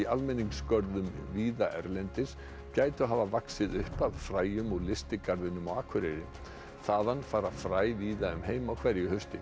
almenningsgörðum víða erlendis gætu hafa vaxið upp af fræjum úr lystigarðinum á Akureyri þaðan fara fræ víða um heim á hverju hausti